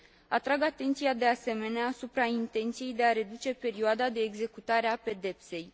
Atrag atenția, de asemenea, asupra intenției de a reduce perioada de executare a pedepsei.